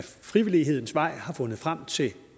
frivillighedens vej finder frem til